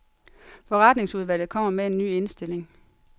Forretningsudvalget kommer med en ny indstilling.